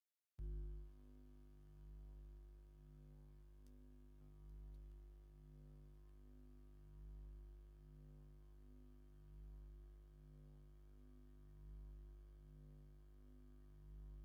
ኣብ ትግራይ ባህላዊ እንጀራ መትሓዚ መሶብ ዝተፈላለዩ መሶባት ብታንቴል ተሸፊኖም ዝተሰረዑ እዮም። ናብ ሽምግልና ወይስ ናብ መርዓ ዝከድ እንጀራ ዶ ይኮን?